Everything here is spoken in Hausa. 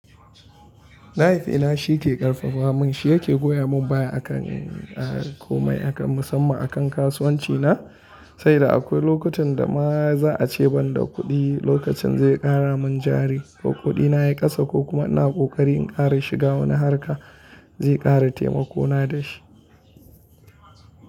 Mahaifina shi ke ƙarfafa mun, shi yake goya mun baya a kan komai musamman a kan kasuwanci na, sai da akwai lokutan da ma za a ce ban da kuɗi, lokacin zai ƙara mun jari ko kuɗi na ya kasa ko kuma ina ƙoƙari in ƙara shiga wani harka zai ƙara taimako na da shi.